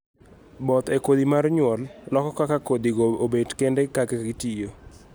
both e kodhi mar nyuol loko kaka kodhi go obet kende kaka gitiyo